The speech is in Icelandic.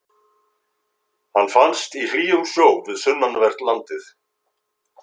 Hann finnst í hlýjum sjó við sunnanvert landið.